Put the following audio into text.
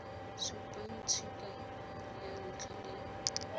supang tshika ya ntlha le